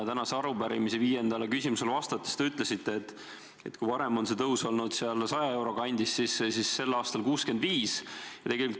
Tänase arupärimise viiendale küsimusele vastates te ütlesite, et kui varem on see palgatõus olnud 100 euro kandis, siis nüüd on 65 eurot.